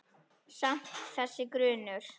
Samt- þessi grunur.